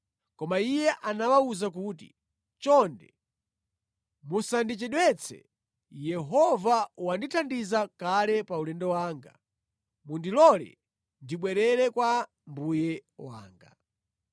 Koma iye anawawuza kuti, “Chonde musandichedwetse. Yehova wandithandiza kale pa ulendo wanga. Mundilole ndibwerere kwa mbuye wanga.”